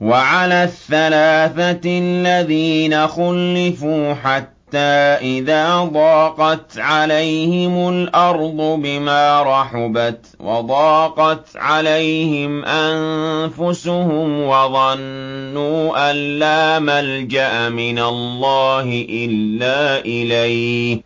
وَعَلَى الثَّلَاثَةِ الَّذِينَ خُلِّفُوا حَتَّىٰ إِذَا ضَاقَتْ عَلَيْهِمُ الْأَرْضُ بِمَا رَحُبَتْ وَضَاقَتْ عَلَيْهِمْ أَنفُسُهُمْ وَظَنُّوا أَن لَّا مَلْجَأَ مِنَ اللَّهِ إِلَّا إِلَيْهِ